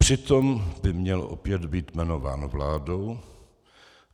Přitom by opět měl být jmenován vládou.